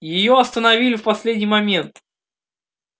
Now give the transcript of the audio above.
её остановили в последний момент